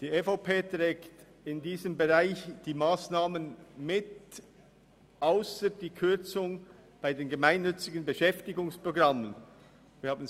Die EVP trägt in diesem Bereich die Massnahmen mit, ausser derjenigen der Kürzung bei den Gemeinnützigen Beschäftigungsprogrammen.